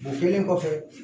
O kɛlen kɔfɛ